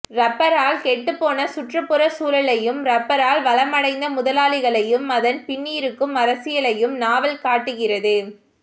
ரப்பரால் கெட்டுப்போன சுற்றுப்புற சூழலையும் ரப்பரால் வளமடைந்த முதலாளிகளையும் அதன் பின்னிருக்கும் அரசியலையும் நாவல் காட்டுகிறது